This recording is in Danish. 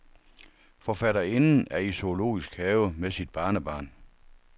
Forfatterinden er i zoologisk have med sit barnebarn.